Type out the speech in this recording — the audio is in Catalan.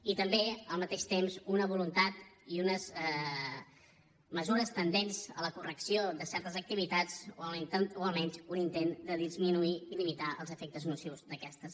i també al mateix temps una voluntat i unes mesures tendents a la correcció de certes activitats o almenys un intent de disminuir i limitar els efectes nocius d’aquestes